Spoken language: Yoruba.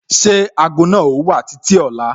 Ṣé ago náà o ti wà títí ọ̀la?